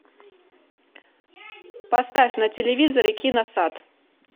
поставь на телевизоре киносад